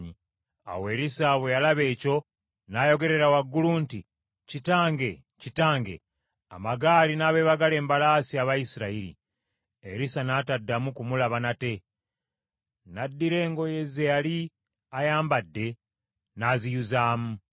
Awo Erisa bwe yalaba ekyo, n’ayogerera waggulu nti, “Kitange, Kitange, amagaali n’abeebagala embalaasi aba Isirayiri!” Erisa n’ataddamu kumulaba nate. N’addira engoye ze yali ayambadde, n’aziyuzaayuza.